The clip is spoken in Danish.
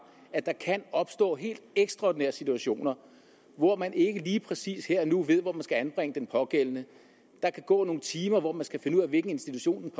at der kan opstå helt ekstraordinære situationer hvor man ikke lige præcis her og nu ved hvor man skal anbringe den pågældende der kan gå nogle timer hvor man skal finde ud af hvilken institution